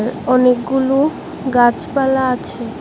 আঃ অনেকগুলো গাছপালা আছে।